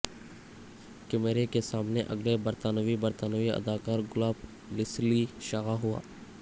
کیمرے کے سامنے اگلے برطانوی برطانوی اداکار گلاب لیسلی شائع ہوا